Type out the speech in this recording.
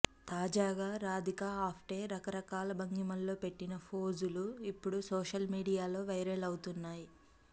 తాజాగా రాధికా ఆప్టే రకరకాల భంగిమల్లో పెట్టిన ఫోజులు ఇప్పుడు సోషల్ మీడియాలో వైరల్ అవుతున్నాయి